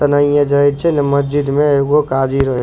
एन्हैये जाय छै ने मस्जिद में एगो काजी रहे --